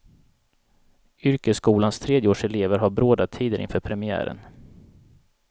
Yrkesskolans tredjeårselever har bråda tider inför premiären.